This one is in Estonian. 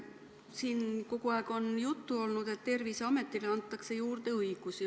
Siin on kogu aeg juttu olnud, et Terviseametile antakse juurde õigusi.